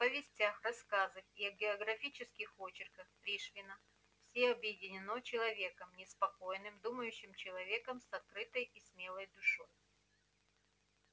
в повестях рассказах и географических очерках пришвина все объединено человеком неспокойным думающим человеком с открытой и смелой душой